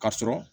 Ka sɔrɔ